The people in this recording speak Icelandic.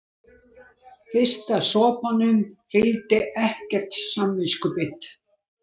Fyrsta sopanum fylgdi ekkert samviskubit.